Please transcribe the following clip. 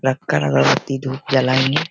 लगता है अगरबत्ती धुप जलाएंगे।